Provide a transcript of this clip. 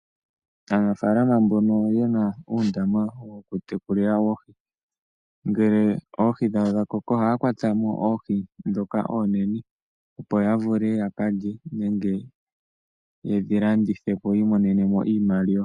Aanafaalama mbono yena uundama woku tekulila oohi, ngele oohi dhawo dhakoko ohaya kwata mo oohi ndhoka oonene opo ya vule ya ka lye nenge yedhi landithe po yi imonene mo iimaliwa.